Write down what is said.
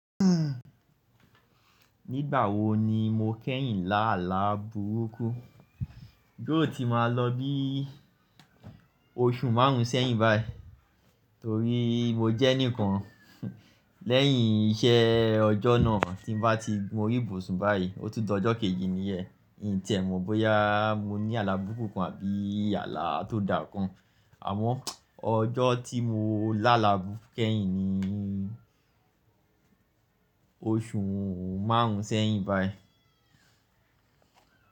Nígbà wo ni mo kẹ́yìn lá àlá burúkú? Yi óò ti máa lọ bí oṣù márùn-ún sẹ́yìn báyìí. Torí mo jẹ́ enìkan lẹ́yìn iṣẹ́ ọjọ́ náà tí n bá ti gun orí ibùsùn báyìí, ó tún di ọjọ́ kejì niyẹn. N ì tie mọ̀ bóyá mo ní àlá burúkú kan àbí àlá tó da kan. Àmọ́ ọjọ́ tí mo lá àlá burúkú kẹ́yìn ni oṣù márùn-ún sẹ́yìn báyìí.